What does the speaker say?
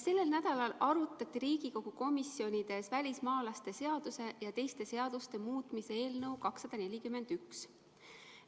Sellel nädalal arutati Riigikogu komisjonides välismaalaste seaduse ja teiste seaduste muutmise eelnõu 241.